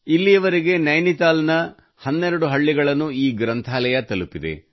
ಇಲ್ಲಿಯವರೆಗೆ ನೈನಿತಾಲ್ನ 12 ಹಳ್ಳಿಗಳನ್ನು ಈ ಗ್ರಂಥಾಲಯ ತಲುಪಿದೆ